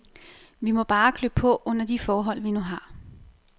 Vi må bare klø på under de forhold, vi nu har.